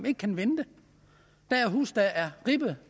ikke kan vente der er huse der er ribbet